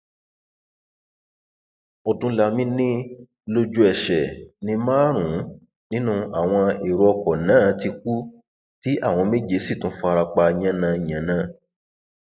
odúnlami ni lójúẹsẹ ní márùnún nínú àwọn èrò ọkọ náà ti kú tí àwọn méje sì tún fara pa yànńyànnàǹ